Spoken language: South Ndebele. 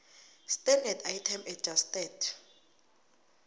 standard item adjusted